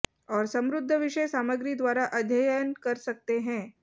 और समृद्ध विषय सामग्री द्वारा अध्ययन कर सकते हैं